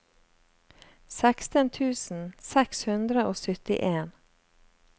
seksten tusen seks hundre og syttien